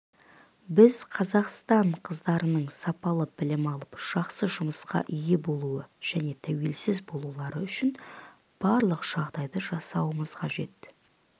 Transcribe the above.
біз қазақстан қыздарының сапалы білім алып жақсы жұмысқа ие болуы және тәуелсіз болулары үшін барлық жағдайды жасауымыз қажет